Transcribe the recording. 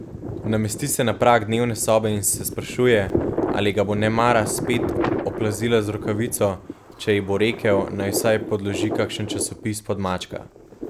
Namesti se na prag dnevne sobe in se sprašuje, ali ga bo nemara spet oplazila z rokavico, če ji bo rekel, naj vsaj podloži kakšen časopis pod mačka.